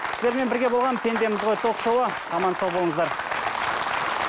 сіздермен бірге болған пендеміз ғой ток шоуы аман сау болыңыздар